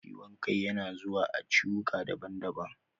Ciwon kai yana zuwa a ciwuka daban daban